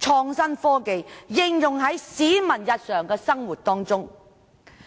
創新科技應用於市民的日常生活中。